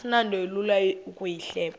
asinto ilula ukuyihleba